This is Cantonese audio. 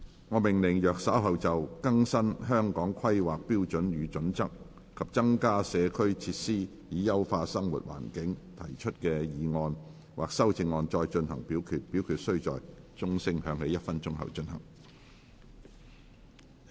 我命令若稍後就"更新《香港規劃標準與準則》及增加社區設施以優化生活環境"所提出的議案或修正案再進行點名表決，表決須在鐘聲響起1分鐘後進行。